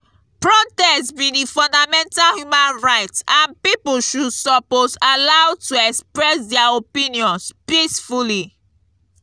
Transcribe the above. protest be di fundamental human right and people should suppose allowed to express dia opinions peacefully.